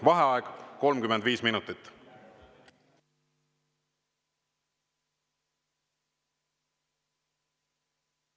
Vaheaeg 35 minutit.